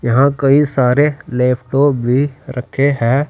यहां कई सारे लैपटॉप भी रखे हैं।